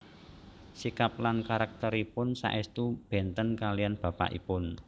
Sikap lan karakteripun saèstu benten kaliyan bapakipun